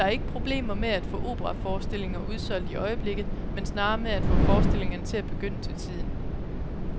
Der er ikke problemer med at få operaforestillinger udsolgt i øjeblikket, men snarere med at få forestillingerne til at begynde til tiden.